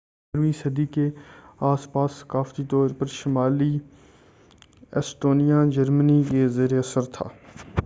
15 ویں صدی کے اس پاس ثقافتی طور پر شمالی ایسٹونیا جرمنی کے زیر اثر تھا